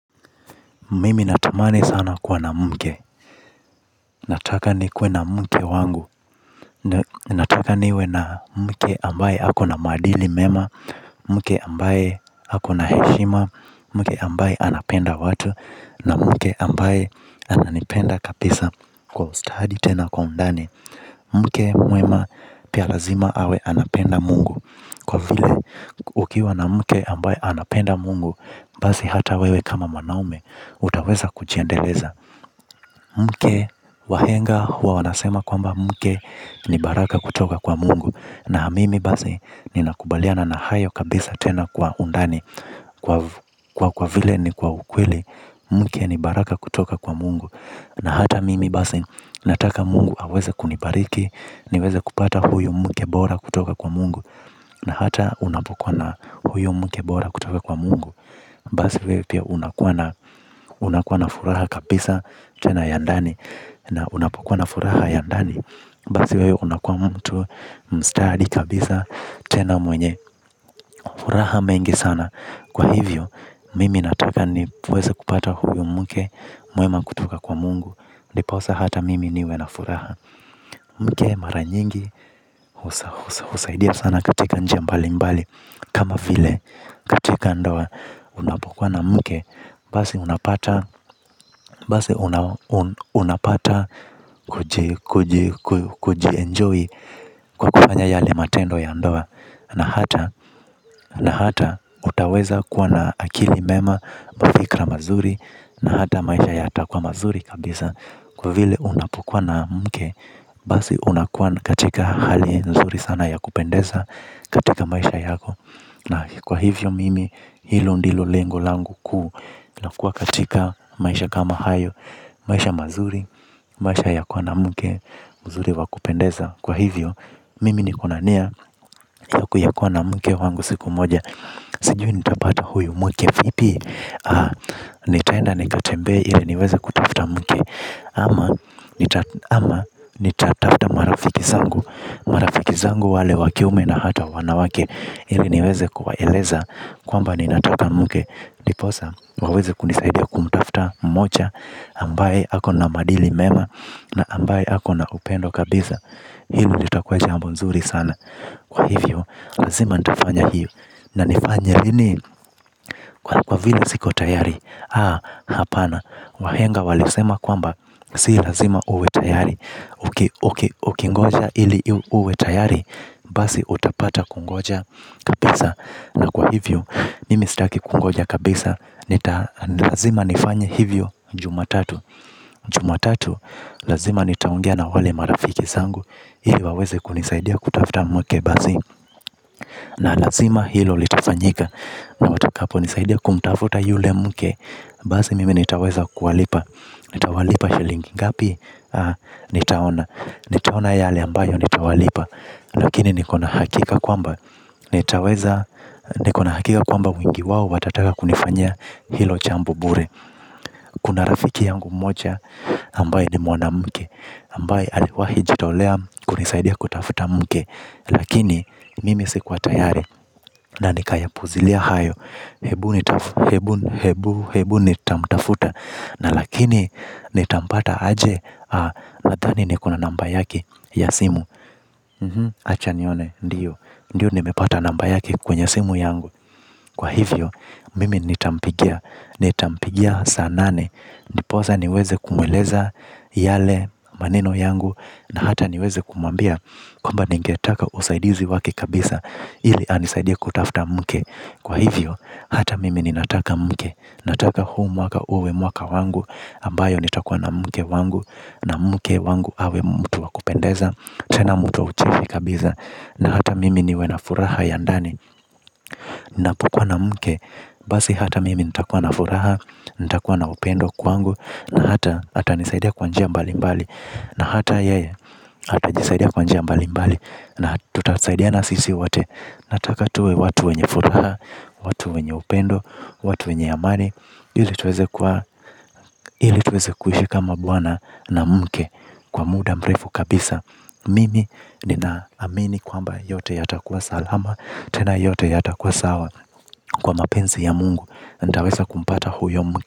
Mimi natamani sana kuwa na mke. Nataka nikuwe na mke wangu. Nataka niwe na mke ambaye hako na madili mema. Mke ambaye hako na heshima. Mke ambaye anapenda watu. Na mke ambaye ananipenda kapisa kwa ustahadi tena kwa undani. Mke muema pia lazima awe anapenda mungu kwa vile. Ukiwa na mke ambaye anapenda mungu, basi hata wewe kama mwanaume, utaweza kujiendeleza. Mke wahenga huwa wanasema kwamba mke ni baraka kutoka kwa mungu. Na mimi basi ni nakubaliana na hayo kabisa tena kwa undani. Kwa kwa vile ni kwa ukweli. Mke ni baraka kutoka kwa mungu. Na hata mimi basi nataka mungu aweze kunibariki. Niweze kupata huyu mkebora kutoka kwa mungu. Na hata unapokwa na huyu mkebora kutoka kwa mungu. Basi wewe pia unakuwa na furaha kabisa tena yandani na unapokuwa na furaha ya ndani basi wewe unakuwa mtu mstadi kabisa tena mwenye, furaha mengi sana kwa hivyo, mimi nataka ni puweza kupata huyu mke muema kutoka kwa mungu ndiposa hata mimi niwe na furaha mke mara nyingi husa husaidia sana katika njia mbali mbali kama vile katika ndowa unapokuwa na mke basi unapata basi unapata Kujienjoy. Kwa kufanya yale matendo ya ndoa. Na hata na hata utaweza kuwa na akili mema. Mavikra mazuri. Na hata maisha ya hata kuwa mazuri kabisa. Kwa vile unapokuwa na mke basi unakua katika hali nzuri sana ya kupendesa. Katika maisha yako. Na kwa hivyo mimi hilo ndilo lengo langu ku na kuwa katika maisha kama hayo. Maisha mazuri. Maisha ya kuwa na muke. Muzuri wa kupendeza kwa hivyo. Mimi ni kona nia. Ya kuya kuwa na muke wangu siku moja. Sijui nitabata huyu muke. Vipi nitaenda nikatembe ili niweze kutafta mke ama Ama Nitaftafta marafiki zangu. Marafiki zangu wale wakiume na hata wanawake. Ili niweze kuwaeleza kwamba ni nataka muke ndiposa waweze kunisaidia kumutafta mmocha ambaye hako na madili mema. Na ambaye hako na upendo kabisa. Hili litakuwa jambo nzuri sana. Kwa hivyo lazima nitafanya hiyo. Na nifanye lini kwa kwa vile siko tayari. Haa hapana. Wahenga walisema kwamba si lazima uwe tayari. Ukingoja ili uwe tayari. Basi utapata kungoja kabisa. Na kwa hivyo ni mistaki kungoja kabisa. Nita lazima nifanye hivyo juma tatu. Juma tatu, lazima nitaongea na wale marafiki sangu. Hii waweze kunisaidia kutafuta mke bazi na lazima hilo litafanyika. Na watakapo nisaidia kumtafuta yule mke. Bazi mimi nitaweza kualipa. Nitawalipa shilingi ngapi. Nitaona yale ambayo nitawalipa. Lakini nikona hakika kwamba nitaweza, nikona hakika kwamba wengi wawo watataka kunifanyia hilo chambo bure. Kuna rafiki yangu mocha ambaye ni mwana mke ambaye aliwahi jitaolea kunisaidia kutafuta mke. Lakini mimi si kuwa tayari na nikaya puzilia hayo. Hebu ni tamtafuta. Na lakini nitampata aje nathani ni kona namba yake ya simu. Acha niyone ndiyo. Ndiyo ni mepata namba yake kwenye simu yangu. Kwa hivyo mimi nitampigia. Ni tampigia sanane. Ndipoza niweze kumweleza yale maneno yangu. Na hata niweze kumwambia kuamba ningetaka usaidizi wake kabisa. Ili anisaidia kutafuta mke. Kwa hivyo, hata mimi ni nataka mke. Nataka humwaka uwe mwaka wangu ambayo nitakua na mke wangu. Na mke wangu awe mutu wakupendeza. Tena mutu wa ucheshi kabisa. Na hata mimi niwe na furaha ya ndani. Ninapokua na mke. Basi hata mimi nitakua na furaha. Nitakua na upendo kwangu. Na hata hatanisaidia kwanjia mbali mbali. Na hata yeye hata nisaidia kwanjia mbali mbali. Na tutasaidiana sisi wote. Nataka tuwe watu wenye furaha. Watu wenye upendo. Watu wenye amani. Hili tuweze kuishi kama buwana na mke. Kwa muda mrefu kabisa. Mimi nina amini kwa mba yote yata kuwa salama. Tena yote yata kuwa sawa. Kwa mapenzi ya mungu nitaweza kumpata huyo mke.